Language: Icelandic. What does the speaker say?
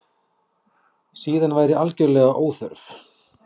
Síðan væri algerlega óþörf